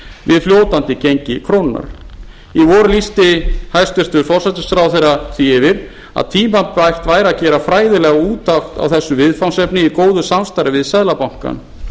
við fljótandi gengi krónunnar í vor lýsti hæstvirtur forsætisráðherra því yfir að tímabært væri að gera fræðilega úttekt á þessu viðfangsefni í góðu samstarfi við seðlabankann